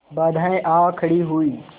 बाधाऍं आ खड़ी हुई